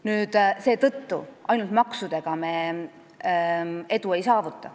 Nii et ainult maksudega me edu ei saavuta.